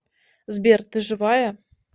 сбер ты живая